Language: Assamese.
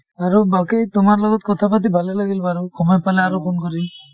আৰু বাকি তোমাৰ লগত কথাপাতি ভালে লাগিল বাৰু সময় পালে আৰু phone কৰিম